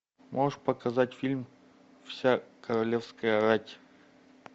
можешь показать фильм вся королевская рать